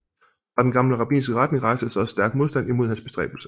Fra den gamle rabbinske retning rejstes også stærk modstand imod hans bestræbelse